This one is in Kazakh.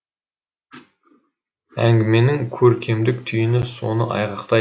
әңгіменің көркемдік түйіні соны айғақтайды